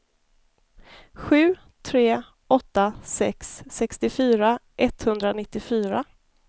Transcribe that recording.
sju tre åtta sex sextiofyra etthundranittiofyra